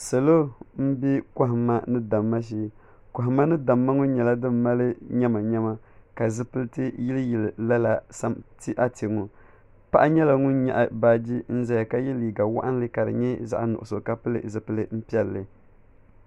Salo m-be kɔhimma ni damma shee kɔhimma ni damma ŋɔ nyɛla din mali nyamanyama ka zipiliti yiliyili lala ate ŋɔ paɣa nyɛla ŋun nyaɣi baaji zaya ka ye liiga waɣinli ka di nyɛ zaɣ'nuɣuso ka pili zipili piɛlli.